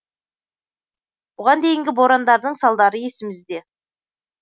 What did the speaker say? бұған дейінгі борандардың салдары есімізде